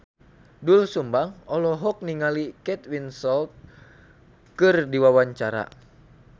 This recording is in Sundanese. Doel Sumbang olohok ningali Kate Winslet keur diwawancara